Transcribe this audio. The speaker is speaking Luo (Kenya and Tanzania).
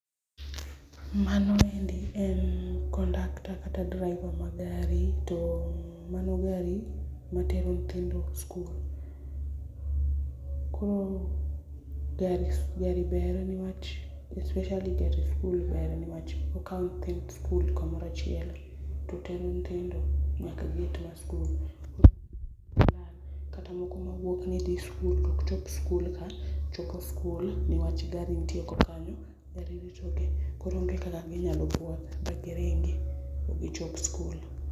Mano endi en conductor kata driver mar gari to mano gari matero nyithindo skul. Koro gari ber niwach especially gari skul ber nikech okawo nyithind skul kamoro achiel totero nyithindo nyaka gate mar skul kata moko mawuok nidhi skul tok chop skul ka chopo skul niwach gari nitie oko kanyo, gari ritogi koro onge kaka ginyalo bwoth magiringi maok gichop skul.